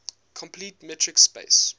complete metric space